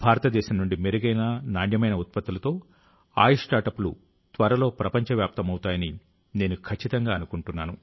భారతదేశం నుండి మెరుగైన నాణ్యమైన ఉత్పత్తులతో ఆయుష్ స్టార్ట్అప్లు త్వరలో ప్రపంచవ్యాప్తమవుతాయని నేను ఖచ్చితంగా అనుకుంటున్నాను